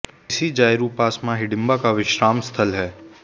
इसी जायरू पास मां हिडिंबा का विश्राम स्थल है